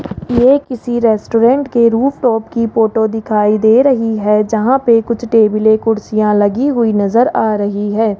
यह किसी रेस्टोरेंट के रूफटॉप की फोटो दिखाई दे रही है जहां पे कुछ टेबले कुर्सियां लगी हुई नजर आ रही है।